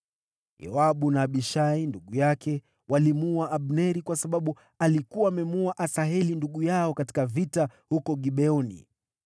(Yoabu na Abishai ndugu yake walimuua Abneri kwa sababu alikuwa amemuua Asaheli ndugu yao katika vita huko Gibeoni.)